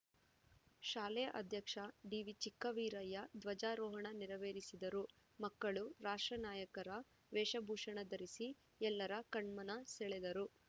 ಶಾಲೆ ಅಧ್ಯಕ್ಷ ಡಿವಿಚಿಕ್ಕವೀರಯ್ಯ ಧ್ವಜಾರೋಹಣ ನೆರವೇರಿಸಿದರು ಮಕ್ಕಳು ರಾಷ್ಟ್ರ ನಾಯಕರ ವೇಷಭೂಷಣ ಧರಿಸಿ ಎಲ್ಲರ ಕಣ್ಮನ ಸೆಳೆದರು